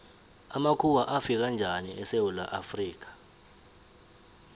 amakhuwa afika njani esewula afrika